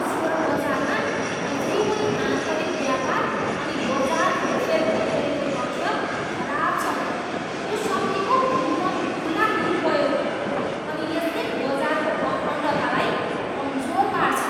Share बजारमा अझै पनि आन्तरिक व्यापार अनि बजार हेरफेर भइरहेको तथ्य खराब छ। यो शक्तिको खुल्लमखुल्ला दुरुपयोग हो अनि यसले बजारको अखण्डतालाई कमजोर पार्छ।